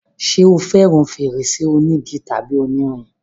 ṣé o fẹràn fèrèsé onígi tàbí onírin?